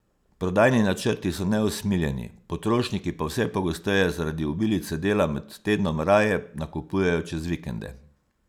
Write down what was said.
Prodajni načrti so neusmiljeni, potrošniki pa vse pogosteje zaradi obilice dela med tednom raje nakupujejo čez vikende.